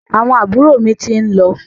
Àwọn àbúrò mi ti ń lọ.